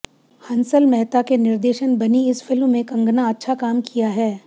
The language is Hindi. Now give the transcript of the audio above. हंसल मेहता के निर्देशन बनी इस फिल्म में कंगना अच्छा काम किया है